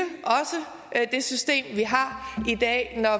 er at det system vi har i dag når